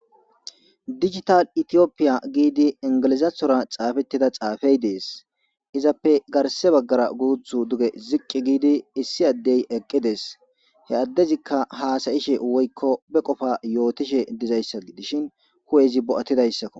Digital Ethiopia Gidi enigilizoththara xaafetida xaafeyi dees.izappe garisse bagara guththu ziqi gidi issi adeyi eqqidees.hee adezzikka hasayishshe woyikko be qoppa yotishshe dizayissa gidishshin hu'eezi bo'atizayossakko .